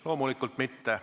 Loomulikult mitte.